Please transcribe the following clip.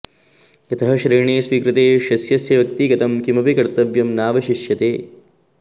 यतः शरणे स्वीकृते शिष्यस्य व्यक्तिगतं किमपि कर्तव्यं नावशिष्यते